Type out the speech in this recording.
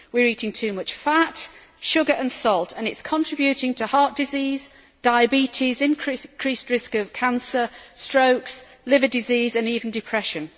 We are eating too much fat, sugar and salt, and it is contributing to heart disease, diabetes, increased risk of cancer, strokes, liver disease and even depression.